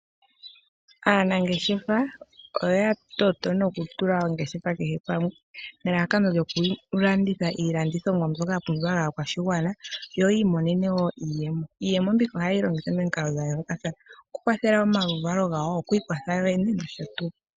Aanangeshefa oyatoto noku tula oongeshefa kehe pamwe nelalakano lyokulanditha iilandithomwa mbyoka yapumbiwa koshigwana yo yiimonene mo woo iiyemo. Iiyemo mbika ohaye yi longitha momikalo dhayoolokathana okukwathela omaluvalo gawo, okwiikwatha yoyene nosho tuu.